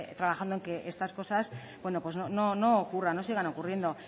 trabajando en que estas cosas no ocurran no sigan ocurriendo